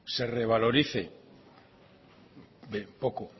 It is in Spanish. se revaloricen poco